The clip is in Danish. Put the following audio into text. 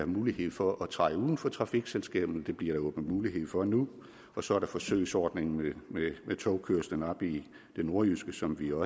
mulighed for at træde uden for trafikselskaberne det bliver der åbnet mulighed for nu og så er der forsøgsordningen med togkørslen oppe i det nordjyske som vi jo